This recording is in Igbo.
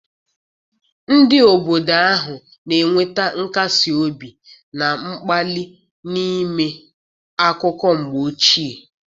Ndị obodo ahụ na-enweta nkasi obi na mkpali n'ime akụkọ mgbe ochie.